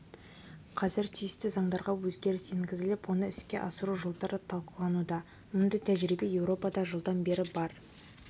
қазір тиісті заңдарға өзгеріс енгізіліп оны іске асыру жолдары талқылануда мұндай тәжірибе еуропада жылдан бері бар